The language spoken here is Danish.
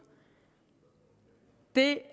det